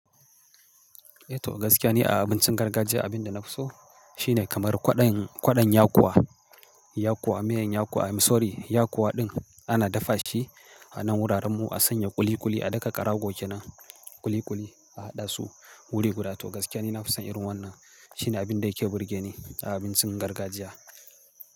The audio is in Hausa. To gaskiya ne a abincin gargajiya, abin da na fi so shi ne kamar kwaɗon, kwaɗon yakuwa, yakuwa, miyan yakuwa. Sorry yakuwa ɗin ana dafa shi a nan wuraren mu a sanya ƙuliƙuli a daka ƙarago kenan, ƙuliƙuli a haɗa su wuri guda. To gaskiya ne na fi son irin wannan. Shi ne abin da yake burge ni a abincin gargajiya.